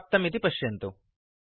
शून्यं प्राप्तम् इति पश्यन्तु